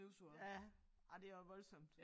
Ja ej det også voldsomt